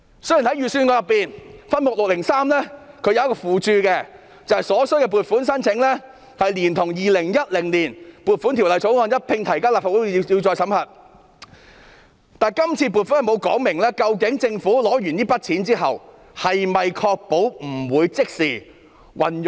雖然預算案分目603的附註指出，所需撥款的申請連同《2020年撥款條例草案》，一併提交立法會批核，但今次臨時撥款並無說明政府在取得款項後不會即時運用。